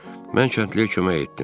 Mən kəndliyə kömək etdim.